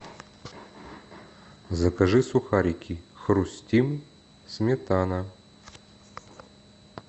закажи сухарики хрустим сметана